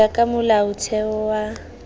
ho ya ka molaotheo wa